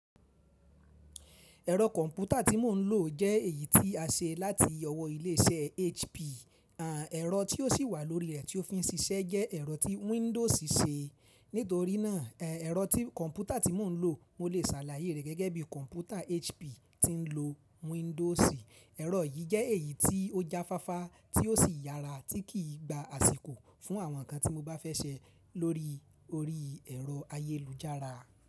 Ẹ̀rọ kọ̀mpútà tí mò ń lò jẹ́ èyí tí a ṣe láti ọwọ́ ilé iṣẹ́ HP. Àn ẹrọ tí ó sì wà lórí rẹ̀ tí ó fi ń ṣiṣẹ́ jẹ́ ẹ̀rọ tí Windows ṣe. Nítorí náà, ẹ̀rọ tí kọ̀mpútà tí mò ń lò, mo lè ṣàlàyé rẹ̀ gẹ́gẹ́ bí kọ̀mpútà HP tí ń lo Windows. Ẹ̀rọ yìí jẹ́ èyí tí ó jáfáfá tí ó sì yára tí kì í gba àsìkò fún àwọn nǹkan tí mo bá fẹ́ ṣẹ lórí orí ẹ̀rọ ayélujára.